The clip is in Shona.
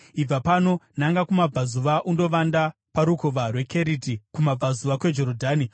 “Ibva pano, nanga kumabvazuva undovanda paRukova rweKeriti, kumabvazuva kweJorodhani.